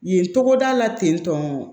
Yen togoda la ten tɔ